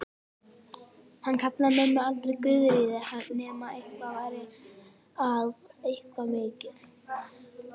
Hann kallaði mömmu aldrei Guðríði nema eitthvað væri að, eitthvað mikið.